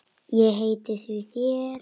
Ég heiti þér því.